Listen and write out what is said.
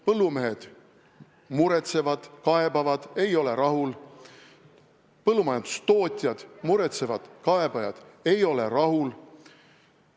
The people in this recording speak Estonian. Põllumehed muretsevad, kaebavad ega ole rahul, põllumajandustootjad muretsevad, kaebavad ega ole rahul.